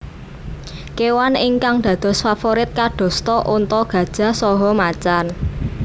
Kewan ingkang dados faforit kadosta onta gajah saha macan